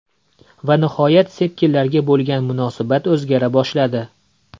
Va nihoyat sepkillarga bo‘lgan munosabat o‘zgara boshladi.